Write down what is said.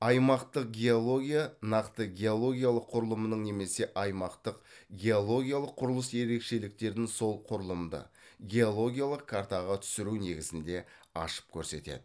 аймақтық геология нақты геологиялық құрылымның немесе аймақтық геологиялық құрылыс ерекшеліктерін сол құрылымды геологиялық картаға түсіру негізінде ашып көрсетеді